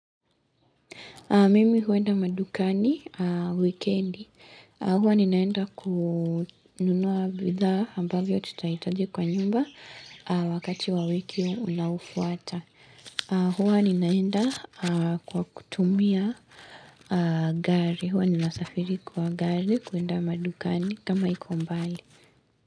Mimi huenda madukani wikendi. Huwa ninaenda kununua bidhaa ambavyo tutaitaji kwa nyumba wakati wa wiki unaofuata. Huwa ninaenda kwa kutumia gari. Huwa nina safiri kwa gari kuenda madukani kama iko mbali.